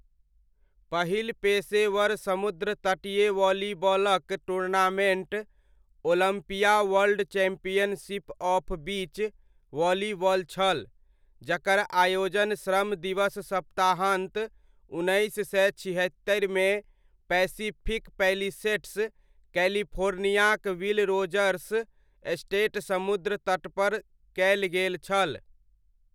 पहिल पेशेवर समुद्रतटीय वॉलीबॉलक tournament, Olympia World Championship of Beach Volleyball छल, जकर आयोजन श्रम दिवस सप्ताहान्त, उन्नैस सय छिहत्तरिमे पैसिफिक पैलिसेड्स, कैलिफोर्नियाक विल रोजर्स स्टेट समुद्रतटपर कयल गेल छल।